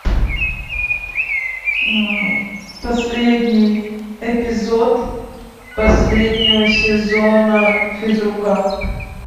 последний эпизод последнего сезона физрука